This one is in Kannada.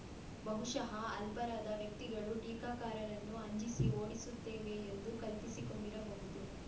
ಬಹುಶಃ ಅಲ್ಪರಾದ ವ್ಯಕ್ತಿಗಳು ಟೀಕಾಕಾರರನ್ನು ಅಂಜಿಸಿ ಓಡಿಸುತ್ತೇವೆ ಎಂದು ಕಲ್ಪಿಸಿಕೊಂಡಿರಬಹುದು